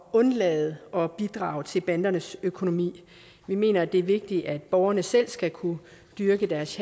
undlade at bidrage til bandernes økonomi vi mener at det er vigtigt at borgerne selv skal kunne dyrke deres